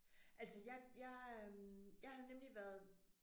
Altså jeg jeg jeg har nemlig været